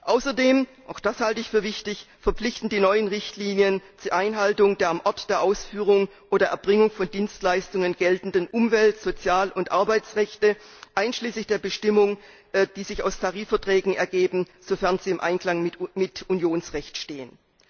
Außerdem auch das halte ich für wichtig verpflichten die neuen Richtlinien zur Einhaltung der am Ort der Ausführung oder Erbringung von Dienstleistungen geltenden Umwelt Sozial und Arbeitsrechte, einschließlich der Bestimmungen, die sich aus Tarifverträgen ergeben, sofern sie im Einklang mit Unionsrecht stehen.